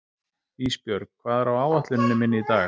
Ísbjörg, hvað er á áætluninni minni í dag?